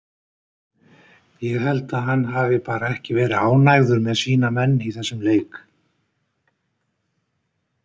Ég held að hann hafi bara ekki verið ánægður með sína menn í þessum leik.